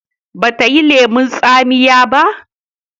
ba ta yi lemun tsamiya ba?